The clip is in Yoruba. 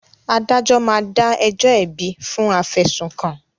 Adájọ́ máa dá ẹjọ́ ẹ̀bi fún afẹ̀sùnkàn